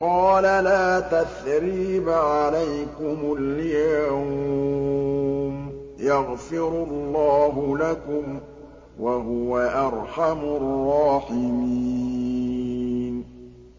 قَالَ لَا تَثْرِيبَ عَلَيْكُمُ الْيَوْمَ ۖ يَغْفِرُ اللَّهُ لَكُمْ ۖ وَهُوَ أَرْحَمُ الرَّاحِمِينَ